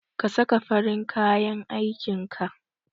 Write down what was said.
Ka saka farin kayan aikin ka!